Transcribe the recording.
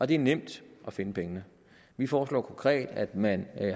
det er nemt at finde pengene vi foreslår konkret at man